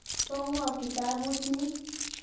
Po ng'o kitaput ni?